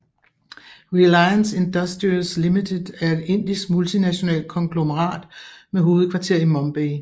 Reliance Industries Limited er et indisk multinational konglomerat med hovedkvarter i Mumbai